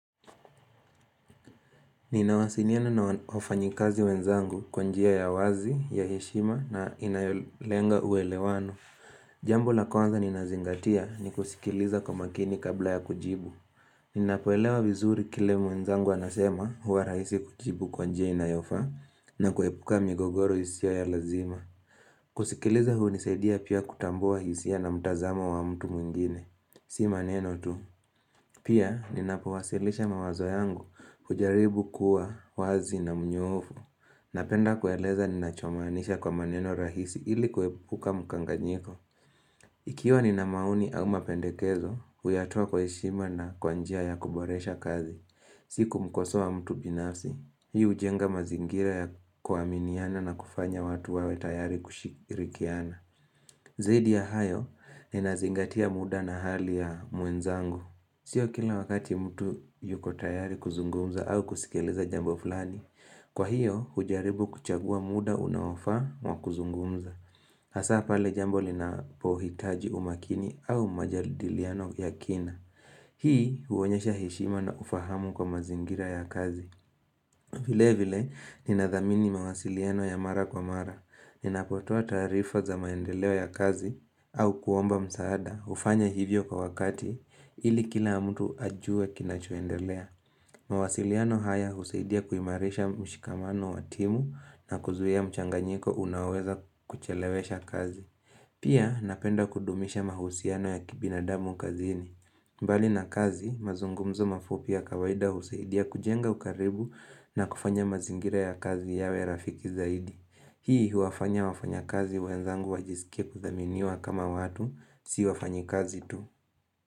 Ninawasiliana na wafanyikazi wenzangu kwa njia ya wazi, ya heshima na inayolenga uelewano. Jambo la kwanza ninazingatia ni kusikiliza kwa makini kabla ya kujibu. Ninapoelewa vizuri kile mwenzangu anasema huwa rahisi kujibu kwa njia inayofaa na kuepuka migogoro hisia ya lazima. Kusikiliza hunisaidia pia kutambua hisia na mtazamo wa mtu mwingine. Si maneno tu. Pia ninapowasilisha mawazo yangu hujaribu kuwa wazi na mnyofu. Napenda kueleza ninachomaanisha kwa maneno rahisi ili kwepuka mkanganyiko. Ikiwa nina maoni au mapendekezo, huyatoa kwa heshima na kwa njia ya kuboresha kazi. Si kumkosoa mtu binafsi, hii hujenga mazingira ya kuaminiana na kufanya watu wawe tayari kushirikiana. Zaidi ya hayo, ninazingatia muda na hali ya mwenzangu. Sio kila wakati mtu yuko tayari kuzungumza au kusikiliza jambo fulani. Kwa hiyo, hujaribu kuchagua muda unaofaa wa kuzungumza. Hasa pale jambo linapohitaji umakini au majadiliano ya kina. Hii huonyesha heshima na ufahamu kwa mazingira ya kazi. Vile vile ninadhamini mawasiliano ya mara kwa mara. Ninapotoa tarifa za maendeleo ya kazi au kuomba msaada hufanya hivyo kwa wakati ili kila mtu ajue kinachoendelea. Mawasiliano haya husaidia kuimarisha mshikamano wa timu na kuzuia mchanganyiko unaoweza kuchelewesha kazi. Pia napenda kudumisha mahusiano ya kibinadamu kazini. Bali na kazi, mazungumzo mafupi ya kawaida husaidia kujenga ukaribu na kufanya mazingira ya kazi yawe rafiki zaidi. Hii huwafanya wafanyakazi wenzangu wajisikie kudhaminiwa kama watu, si wafanyakazi tu.